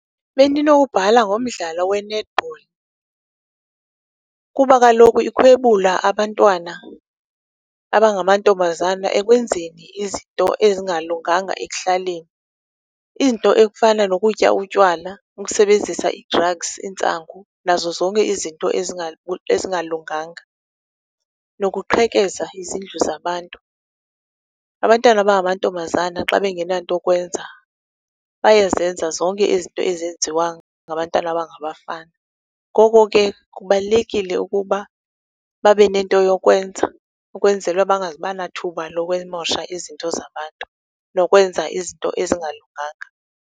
Bendinowubhala ngomdlalo we-netball kuba kaloku ikhwebula abantwana abangamantombazana ekwenzeni izinto ezingalunganga ekuhlaleni. Izinto ekufana nokutya utywala, ukusebenzisa ii-drugs, iintsangu, nazo zonke izinto ezingalunganga, nokuqhekeza izindlu zabantu. Abantwana abangamantombazana xa bengenanto kwenza, bayazenza zonke izinto ezenziwa ngabantwana abangabafana. Ngoko ke kubalulekile ukuba babe nento yokwenza, ukwenzela uba bangazuba nathuba mosha izinto zabantu, lokwenza izinto ezingalunganga.